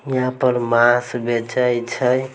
यहाँ पर मांस बेचई छई।